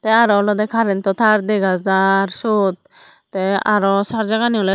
te arow olodey karento tar dega jaar siot te arow sarjarani owley.